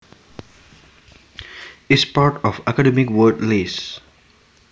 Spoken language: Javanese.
is part of the Academic Word List